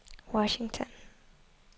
Washington